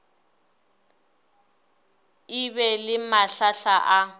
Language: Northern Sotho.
e ba le mahlahla a